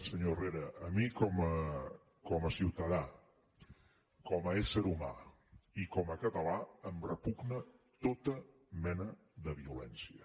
senyor herrera a mi com a ciutadà com a ésser humà i com a català em repugna tota mena de violència